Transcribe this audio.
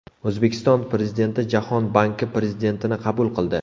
O‘zbekiston Prezidenti Jahon banki prezidentini qabul qildi.